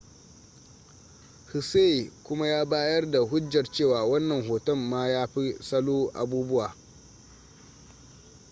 hsieh kuma ya bayar da hujjar cewa wannan hoton ma ya fi salo abubuwa